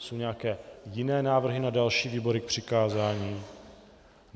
Jsou nějaké jiné návrhy na další výbory k přikázání?